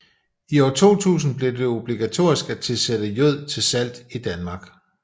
I år 2000 blev det obligatorisk at tilsætte jod til salt i Danmark